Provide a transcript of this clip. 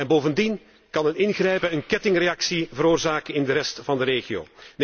Bovendien kan een ingrijpen een kettingreactie veroorzaken in de rest van de regio.